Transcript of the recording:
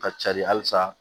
Ka cari halisa